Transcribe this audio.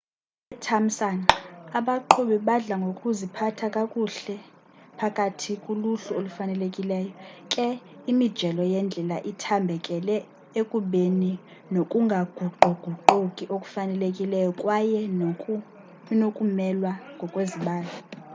ngethamsanqa abaqhubi badla ngokuziphatha kakuhle phakathi kuluhlu olufanelekileyo ke imijelo yendlela ithambekele ekubeni nokungaguquguquki okufanelekileyo kwaye inokumelwa ngokwezibalo